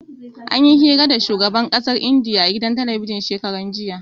Anyi hira da shugaban ƙasar Indiya a gidan talabijin shekaran jiya.